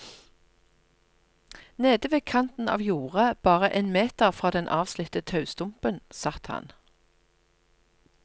Nede ved kanten av jordet, bare en meter fra den avslitte taustumpen satt han.